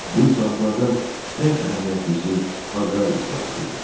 Bu islahatlardan ən əhəmiyyətlisi aqrar islahatı idi.